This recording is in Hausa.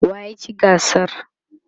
waye ya ci gasar?